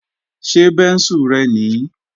Ṣé bẹ́ńsù rẹ nìí?